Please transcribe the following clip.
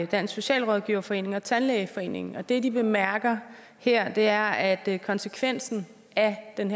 dansk socialrådgiverforening og tandlægeforeningen og det de bemærker her er at konsekvensen af den